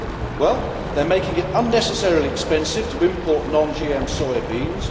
Well, it is making it unnecessarily expensive to import non GM soya beans.